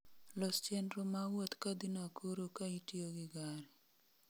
Los chenro ma wuoth ka dhi Nakuru ka itiyo gi gari